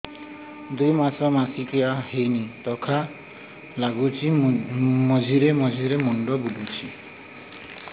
ଦୁଇ ମାସ ମାସିକିଆ ହେଇନି ଥକା ଲାଗୁଚି ମଝିରେ ମଝିରେ ମୁଣ୍ଡ ବୁଲୁଛି